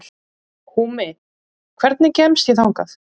Húmi, hvernig kemst ég þangað?